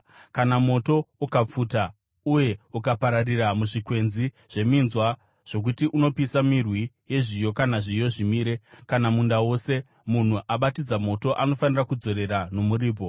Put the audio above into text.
“Kana moto ukapfuta uye ukapararira muzvikwenzi zveminzwa zvokuti unopisa mirwi yezviyo kana zviyo zvimire, kana munda wose, munhu abatidza moto anofanira kudzorera nomuripo.